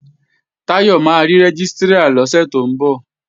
Táyọ̀ máa rí Rẹ́gístrà lọ́sẹ̀ tó ń bọ̀